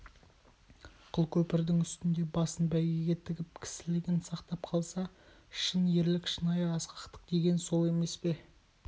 қыл көпірдің үстінде басын бәйгеге тігіп кісілігін сақтап қалса шын ерлік шынайы асқақтық деген сол емес пе